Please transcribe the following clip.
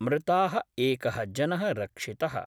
मृता: एक: जन: रक्षित:।